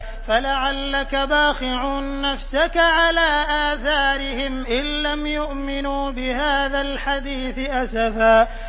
فَلَعَلَّكَ بَاخِعٌ نَّفْسَكَ عَلَىٰ آثَارِهِمْ إِن لَّمْ يُؤْمِنُوا بِهَٰذَا الْحَدِيثِ أَسَفًا